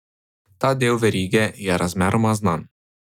Ta del verige je razmeroma znan.